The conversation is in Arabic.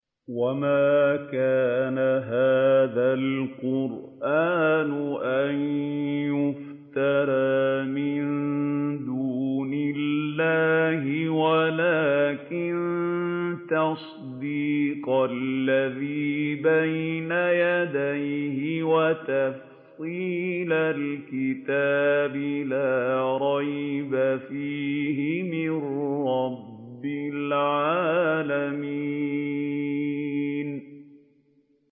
وَمَا كَانَ هَٰذَا الْقُرْآنُ أَن يُفْتَرَىٰ مِن دُونِ اللَّهِ وَلَٰكِن تَصْدِيقَ الَّذِي بَيْنَ يَدَيْهِ وَتَفْصِيلَ الْكِتَابِ لَا رَيْبَ فِيهِ مِن رَّبِّ الْعَالَمِينَ